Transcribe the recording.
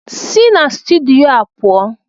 Si na stidiyo a pụọ ugbu a!